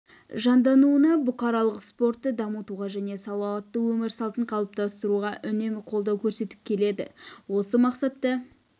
жандануына бұқаралық спортты дамытуға және салауатты өмір салтын қалыптастыруға үнемі қолдау көрсетіп келеді осы мақсатта